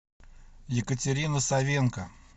екатерина савенко